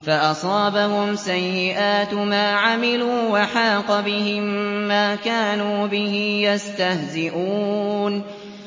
فَأَصَابَهُمْ سَيِّئَاتُ مَا عَمِلُوا وَحَاقَ بِهِم مَّا كَانُوا بِهِ يَسْتَهْزِئُونَ